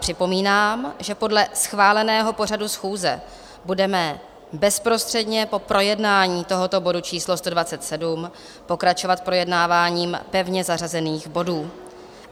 Připomínám, že podle schváleného pořadu schůze budeme bezprostředně po projednání tohoto bodu číslo 127 pokračovat projednáváním pevně zařazených bodů.